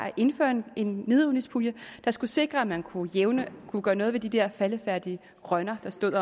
at indføre en nedrivningspulje der skulle sikre at man kunne kunne gøre noget ved de der faldefærdige rønner der stod